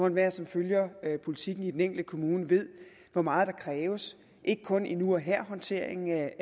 enhver som følger det politiske i den enkelte kommune ved hvor meget der kræves ikke kun i nu og her håndteringen af